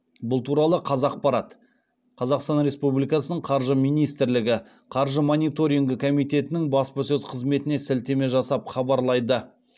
бұл туралы қазақпарат қазақстан республикасы қаржы министрлігі қаржы мониторингі комитетінің баспасөз қызметіне сілтеме жасап хабарлайды